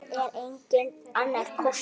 Það er enginn annar kostur.